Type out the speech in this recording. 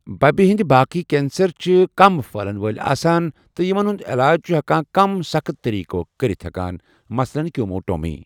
بَبہِ ہِنٛدِ باقٕے کینسَر چھِ کم پٔھہلَن وٲلۍ آسان تہٕ یِمن ہُنٛد علاج چھِ ہیٚکان کم سخت طریقو کٔرِتھ ہیكان ، مثلاً کیموٹومی۔